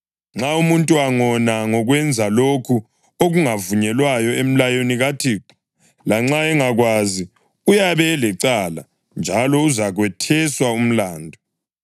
Nxa umuntu angona ngokwenza lokho okungavunyelwayo emlayweni kaThixo, lanxa engakwazi, uyabe elecala njalo uzakwetheswa umlandu.